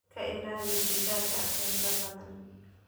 Ka ilaali digaaga digaaga qaylada badan.